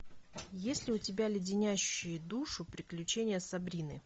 есть ли у тебя леденящие душу приключения сабрины